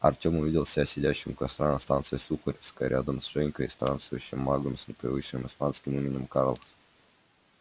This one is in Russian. артём увидел себя сидящим у костра на станции сухаревская рядом с женькой и странствующим магом с непривычным испанским именем карлос